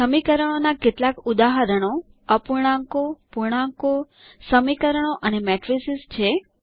સમીકરણોના કેટલાક ઉદાહરણો અપૂર્ણાંકો પૂર્ણાંકો સમીકરણો અને મેટ્રિસીસ છે